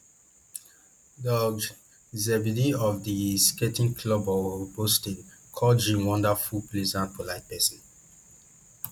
doug zeghibe of di skating club of boston call jin wonderful pleasant polite pesin